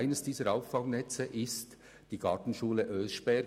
Eines dieser Auffangnetze ist die Gartenbauschule Oeschberg.